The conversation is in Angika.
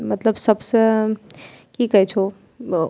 मतलब सब स की कहे छो ब् --